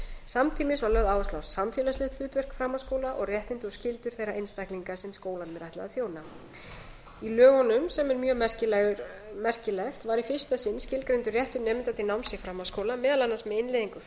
samtímis var lögð áhersla á samfélagslegt hlutverk framhaldsskóla og réttindi og skyldur þeirra einstaklinga sem skólanum er ætlað að þjóna í lögunum sem er mjög merkilegt var í fyrsta sinn skilgreindur réttur nemenda til náms í framhaldsskóla meðal annars með innleiðingu